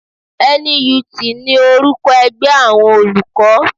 NUT ni orúkọ ẹgbẹ́ àwọn olùkọ́